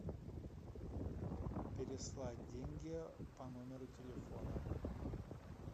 переслать деньги по номеру телефона